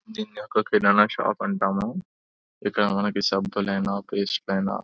దీన్ని ఒక కిరాణా షాప్ అంటాము. ఇక్కడ మనకి సబ్బులు అయినా పేస్టులు అయినా--